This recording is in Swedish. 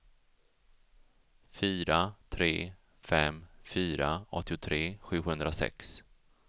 fyra tre fem fyra åttiotre sjuhundrasex